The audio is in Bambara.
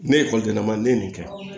Ne ye ekɔlidenman ne ye nin kɛ